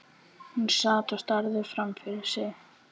Hún sat og starði framfyrir sig.